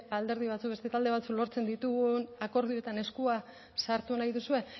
alderdi batzuk beste talde batzuk lortzen ditugun akordioetan eskua sartu nahi duzue